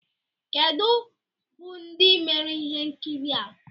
kedu bụ ndị mere ihe nkiri a?